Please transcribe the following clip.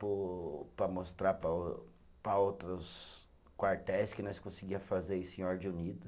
Para mostrar para o, para outros quartéis que nós conseguia fazer isso em ordem unida.